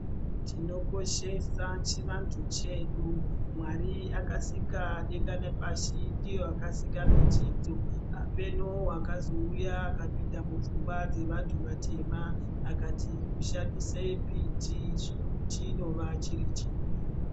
Tinokoshesa chivantu chedu, Mwari akasika denga nepashi ndiye akasika mitidzo, Apeno wakazouya akapinda mupfungwa dzevantu vatema, akati kushandisa mbiti chinova chiri chivi.